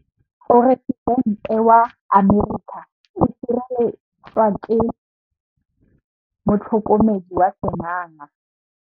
Poresitêntê wa Amerika o sireletswa ke motlhokomedi wa sengaga.